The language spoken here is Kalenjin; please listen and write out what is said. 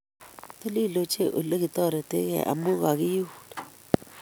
Titil ochei olegitoretegee amu kagiun